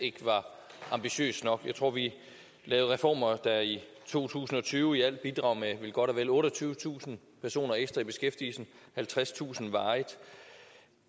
ikke var ambitiøs nok jeg tror at vi lavede reformer der i to tusind og tyve i alt vil bidrage med godt og vel otteogtyvetusind personer ekstra i beskæftigelse halvtredstusind varigt